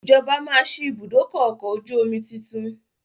Ìjọba máa sì ibùdókọ̀ ọkọ̀ ojú omi tuntun